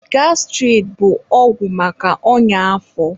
Gastirid bụ ọgwụ maka ọnya afọ.